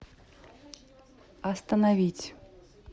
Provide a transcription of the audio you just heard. остановить